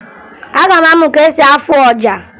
Aga m amụ ka esi afụ ọja